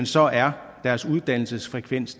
så er deres uddannelsesfrekvens